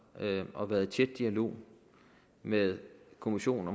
og har været i tæt dialog med kommissionen